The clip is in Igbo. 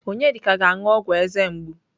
Onyedika ga-anụ ọgwụ eze mgbu.